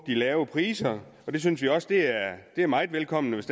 de lave priser vi synes jo også det er meget velkomment